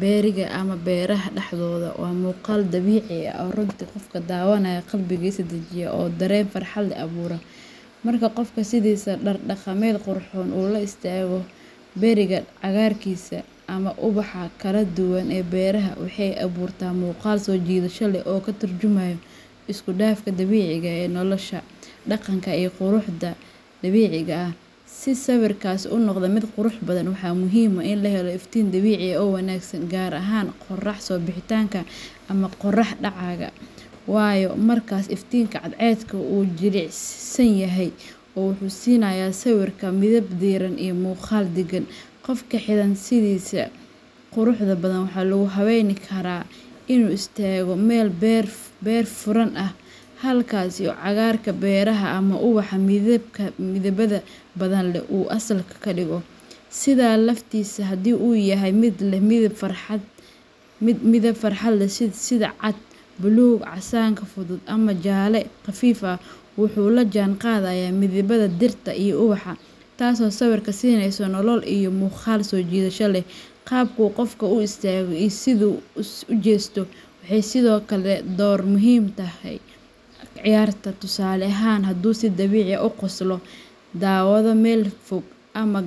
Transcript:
berriga ama beraha dhexdodha waa muuqaal dabiici ah oo runtii qofka daawanaya qalbigiisa dejiya oo dareen farxad leh abuura. Marka qofka sidiisa dhar dhaqameed qurxoon uu la istaago berriga cagaarkiisa, ama ubaxa kala duwan ee beeraha, waxay abuurtaa muuqaal soo jiidasho leh oo ka tarjumaya isku dhafka dabiiciga ah ee nolosha, dhaqanka, iyo quruxda dabiiciga ah. Si sawirkaasi u noqdo mid qurux badan, waxaa muhiim ah in la helo iftiin dabiici ah oo wanaagsan, gaar ahaan qorrax soo bixitaanka ama qorrax dhacaya, waayo markaas iftiinka cadceedu wuu jilicsan yahay oo wuxuu siinayaa sawirka midab diiran iyo muuqaal degan. Qofka xidhan sidiisa quruxda badan ayaa lagu habeyn karaa inuu istaago meel beer furan ah, halkaas oo cagaarka beeraha ama ubaxa midabada badan leh uu asalka ka dhigo. Sidaha laftiisa, haddii uu yahay mid leh midab farxad leh sida cad, buluug, casaanka fudud, ama jaalle khafiif ah, wuxuu la jaan qaadayaa midabada dhirta iyo ubaxa, taasoo sawirka siinaysa nolol iyo muuqaal soo jiidasho leh. Qaabka uu qofku u istaago iyo sida uu u jeesto waxay sidoo kale door muhiim ah ka ciyaartaa; tusaale ahaan, hadduu si dabiici ah u qoslo, daawado meel fog, ama.